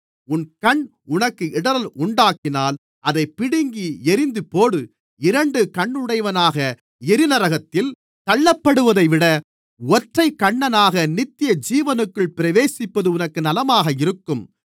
உன் கண் உனக்கு இடறல் உண்டாக்கினால் அதைப் பிடுங்கி எறிந்துபோடு இரண்டு கண்ணுடையவனாக எரிநரகத்தில் தள்ளப்படுவதைவிட ஒற்றைக் கண்ணனாக நித்தியஜீவனுக்குள் பிரவேசிப்பது உனக்கு நலமாக இருக்கும்